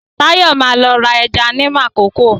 Táyọ̀ ma lọ ra ẹja ní Makòko